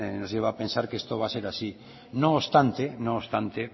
nos lleva a pensar que esto va a ser así no obstante